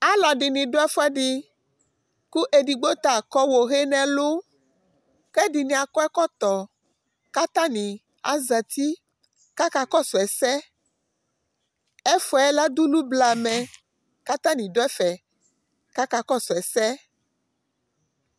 alò ɛdini do ɛfu ɛdi kò edigbo ta akɔ ohe n'ɛlu k'ɛdini akɔ ɛkɔtɔ k'atani azati k'aka kɔsu ɛsɛ ɛfu yɛ ladulu blamɛ k'atani do ɛfɛ k'aka kɔsu ɛsɛ